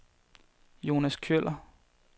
Jonas Kjøller